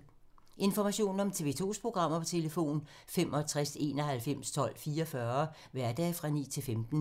Information om TV 2's programmer: 65 91 12 44, hverdage 9-15.